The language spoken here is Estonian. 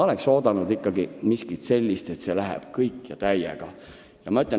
Oleks oodanud ikkagi miskit, mis läheb täiega asja ette.